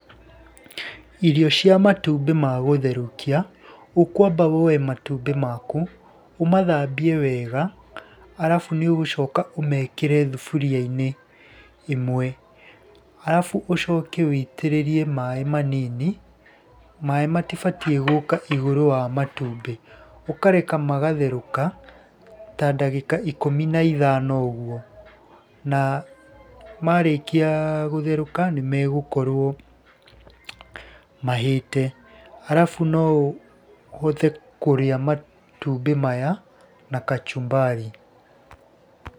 Irio cia matumbĩ ma gũtherũkia, ũkwamba woe matumbĩ maku, ũmathambie wega, arabu nĩ ũgũcoka ũmekĩre thuburia-inĩ imwe. Arabu ũcoke wĩitĩrĩrie maaĩ manini, maaĩ matibatie gũka igũrũ wa matumbĩ. Ukareka magatherũka ta ndagĩka ikũmi na ithano ũguo, na marĩkia gũtherũka nimegũkorwo mahĩĩte. Arabu noũhote kũrĩa matumbĩ maya na kachumbari .